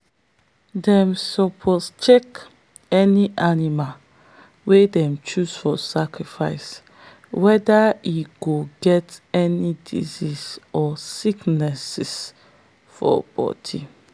them suppose check any animal wey them choose for sacrifice whether e no get any disease or sickness for body.